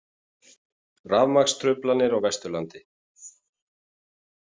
Rafmagnstruflanir á Vesturlandi